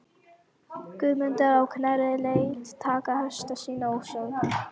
Guðmundur á Knerri lét taka hesta sína og söðla.